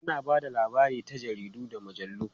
Ana ba da labari ta jaridu da mujallu.